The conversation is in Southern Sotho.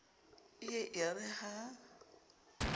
e ye e re ha